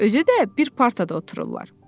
Özü də bir partada otururlar.